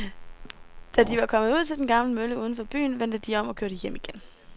Da de var kommet ud til den gamle mølle uden for byen, vendte de om og kørte hjem igen.